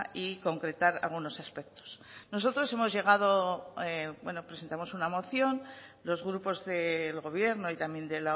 y concretar algunos aspectos nosotros hemos llegado bueno presentamos una moción los grupos del gobierno y también